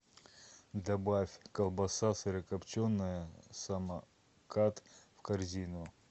добавь колбаса сырокопченая самокат в корзину